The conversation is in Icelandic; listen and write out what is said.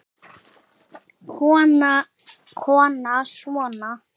Kona: Svona?